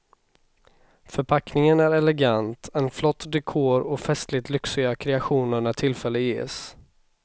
Förpackningen är elegant, en flott dekor och festligt lyxiga kreationer när tillfälle ges.